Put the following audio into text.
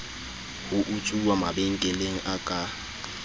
ho utsuwa mabenkeleng a ka